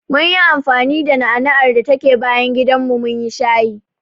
Munyi anfani da na'ana'ar da take bayan gidanmu munyi shayi.